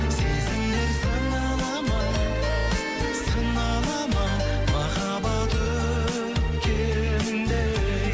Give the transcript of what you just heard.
сезімдер сынала ма сынала ма махаббат өткендей